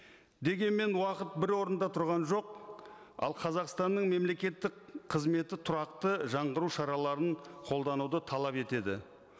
дегенмен уақыт бір орында тұрған жоқ ал қазақстанның мемлекеттік қызметі тұрақты жаңғыру шараларын қолдануды талап етеді